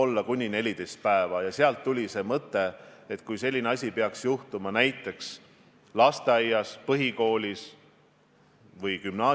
Ma ütlesin ka eile infotunnis, et igasugune immuunsuse tugevdamine, ükskõik kuidas me seda teeme või seda oleme harjunud tegema, on ju väga õige – mitte ainult konkreetselt selle koroonaviiruse puhul, vaid üleüldiselt.